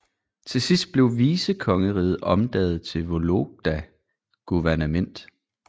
Til sidst blev vicekongeriget omdannet til Vologda guvernement